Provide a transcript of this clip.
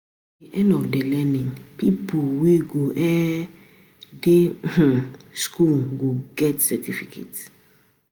At the end of di learning, pipo wey go um di um school go get cerificate